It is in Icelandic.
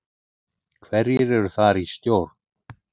Hverjir eru þar í stjórn?